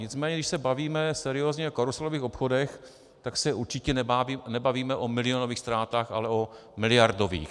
Nicméně když se bavíme seriózně o karuselových obchodech, tak se určitě nebavíme o milionových ztrátách, ale o miliardových.